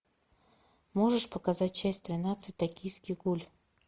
можешь показать часть тринадцать токийский гуль